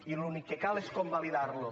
i l’únic que cal és convalidar lo